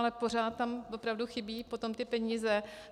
Ale pořád tam opravdu chybí potom ty peníze.